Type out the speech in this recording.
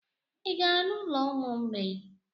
Ị gara n'ụlọ ụmụ mgbei?